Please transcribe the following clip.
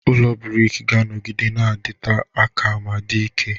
Ụlọ brik ga-anọgide na-adịte aka ma dị ike.